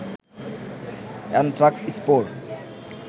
anthrax spore